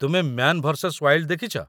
ତୁମେ "Man Versus Wild " ଦେଖିଚ?